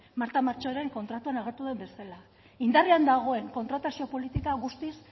marta machoren kontratuan agertu den bezala indarrean dagoen kontratazio politika guztiz